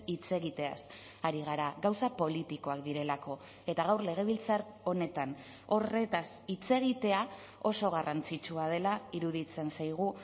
hitz egiteaz ari gara gauza politikoak direlako eta gaur legebiltzar honetan horretaz hitz egitea oso garrantzitsua dela iruditzen zaigu